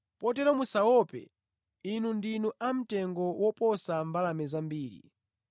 Potero musaope; inu ndinu a mtengo woposa mbalame zambiri.